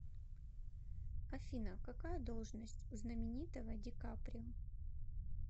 афина какая должность у знаменитого ди каприо